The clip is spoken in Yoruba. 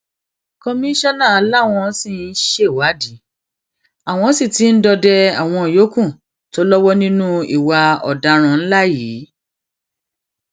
kọmíṣánná làwọn ṣì ń ṣèwádìí àwọn sì ti ń dọdẹ àwọn yòókù tó lọwọ nínú ìwà ọdaràn ńlá yìí